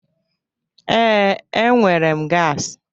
Ee, enwere m gasi,